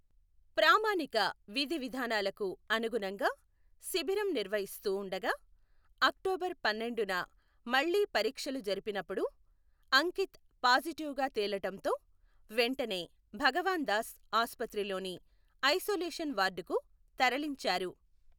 ప్రామాణిక విధి విధానాలకు అనుగుణంగా శిబిరం నిర్వహిస్తూ ఉండగా అక్టోబర్ పన్నెండున మళ్లీ పరీక్షలు జరిపినప్పుడు అంకిత్ పాజిటివ్ గా తేలటంతో వెంటనే భగవాన్ దాస్ ఆస్పత్రిలోని ఐసొలేషన్ వార్డుకు తరలించారు.